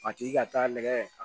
A tigi ka taa nɛgɛ